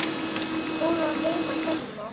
Hún á heima hérna!